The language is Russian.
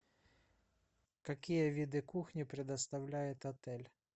какие виды кухни предоставляет отель